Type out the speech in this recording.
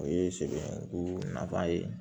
O ye sɛgɛn ko nafa ye